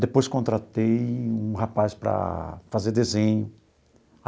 Depois, contratei um rapaz para fazer desenho.